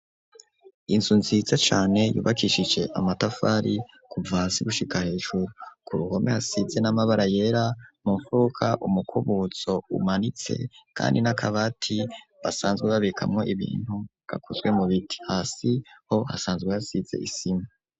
Inzu nziza cane yubakishije amatafari kuva hasi gushika hejuru, ku ruhome hasize n'amabara yera mu mfuruka umukubuzo umanitse kandi n'akabati basanzwe babikamwo ibintu gakozwe mu biti, hasi ho hasanzwe hasize isima.